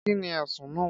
Kí ni ẹ̀sùn náà?